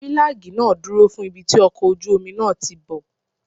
Fílágì náà dúró fún ibi tí ọkọ̀ ojú omi náà tíì bọ̀.